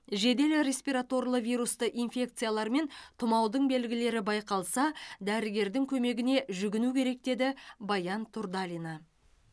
жедел респираторлы вирусты инфекциялар мен тұмаудың белгілері байқалса дәрігердің көмегіне жүгіну керек деді баян турдалина